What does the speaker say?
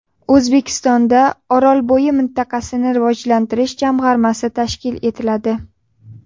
O‘zbekistonda Orolbo‘yi mintaqasini rivojlantirish jamg‘armasi tashkil etiladi .